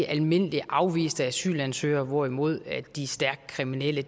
almindeligt afviste asylansøgere hvorimod de stærkt kriminelle